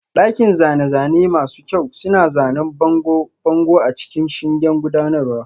Daliban zane-zane masu kyau suna zanen bangon bango a cikin shingen gudanarwa